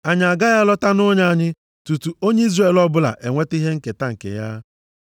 Anyị agaghị alọta nʼụlọ anyị tutu onye Izrel ọbụla enweta ihe nketa nke ya.